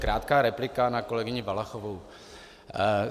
Krátká replika na kolegyni Valachovou.